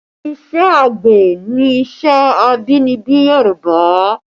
Ìṣe àgbẹ̀ ni iṣẹ́ abínibí Yorùbá